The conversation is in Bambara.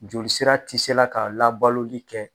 Jolisira ti se la ka labaloli kɛ.